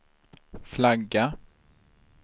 flagga